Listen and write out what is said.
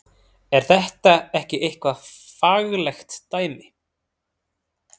Er þetta ekki eitthvað faglegt dæmi?